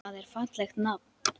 Það er fallegt nafn.